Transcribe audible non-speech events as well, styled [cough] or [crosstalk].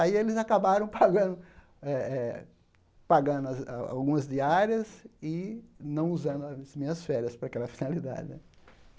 Aí eles acabaram [laughs] pagando eh eh pagando algumas diárias e não usando as minhas férias para aquela finalidade né.